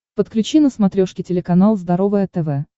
подключи на смотрешке телеканал здоровое тв